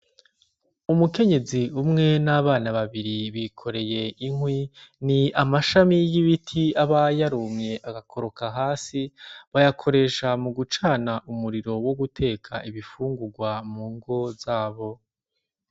Umukenyezi umwe n’abana babiri bikoreye inkwi. Ni amashami y’ibiti aba yarumye agakoroka hasi bayakoresha mu gucana umuriro wo guteka ibifungurwa mu ngo zabo.